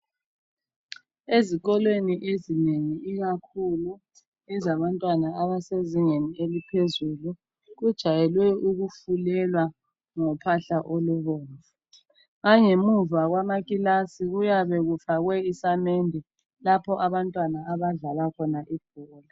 Ezikolweni ezinengi ikakhulu ezabantwana abasezingeni eliphezulu kujwayele ukufulelwa ngophahla olubomvu langemuva kwamakilasi kuyabe kufakwe isamende lapho abantwana abadlala khona ibhola.